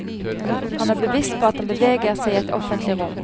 Han er bevisst på at han beveger seg i et offentlig rom.